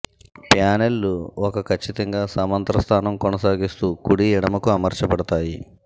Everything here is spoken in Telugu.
ప్యానెల్లు ఒక ఖచ్చితంగా సమాంతర స్థానం కొనసాగిస్తూ కుడి ఎడమ కు అమర్చబడతాయి